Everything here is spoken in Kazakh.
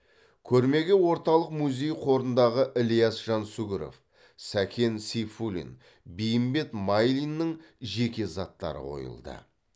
көрмеге орталық музей қорындағы ілияс жансүгіров сәкен сейфуллин бейімбет майлиннің жеке заттары қойылады